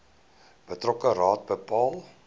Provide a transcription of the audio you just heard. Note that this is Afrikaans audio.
betrokke raad bepaal